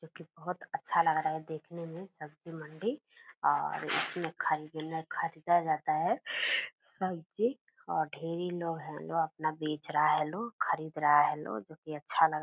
जो की बहुत अच्छा लग रहा देखने में सब्जी मंडी और इसमें खरीदने खरीदा जाता है सब्जी और ढ़ेरी लोग हैं जो अपना बेच रहा है लोग खरीद रहा है लोग जो की अच्छा लग --